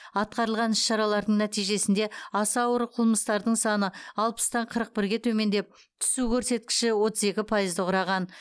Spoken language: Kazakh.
атқарылған іс шаралардың нәтижесінде аса ауыр қылмыстардың саны алпыстан қырық бірге төмендеп түсу көрсеткіші отыз екі пайызды құраған